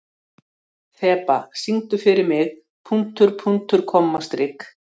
Þeba, syngdu fyrir mig „Punktur, punktur, komma, strik“.